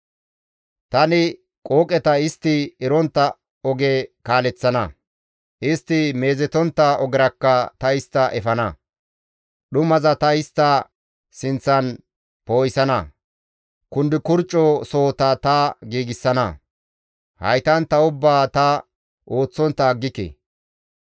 Tani qooqeta istti erontta oge kaaleththana; istti meezetontta ogerakka ta istta efana; dhumaza ta istta sinththan poo7isana; kundukurcco sohota ta giigsana; haytantta ubbaa ta ooththontta aggike.